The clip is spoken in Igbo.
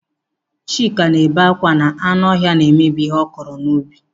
Chika na-ebe akwa na anụ ọhịa na-emebi ihe ọ kụrụ n'ubi.